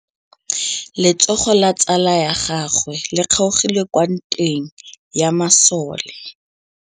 Letsôgô la tsala ya gagwe le kgaogile kwa ntweng ya masole.